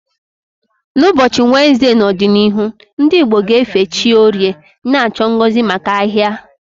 N'ụbọchị Wenezde n'ọdịnihu, ndị Igbo ga-efe chi Orie, na-achọ ngozi maka ahia.